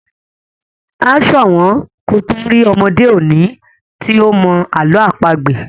a so wón kò to rí ọmọde òde òni tí o mọ àlọ́ àpagbè.